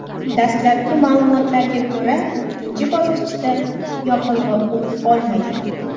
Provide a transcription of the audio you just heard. Dastlabki ma’lumotlarga ko‘ra, ikkinchi bosqichda yoqilg‘i o‘t olmagan.